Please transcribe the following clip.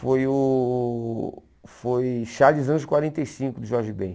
Foi o foi Charles Anjos quarenta e cinco, do Jorge Bem.